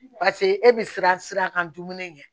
Paseke e bɛ siran sira kan dumuni ɲɛ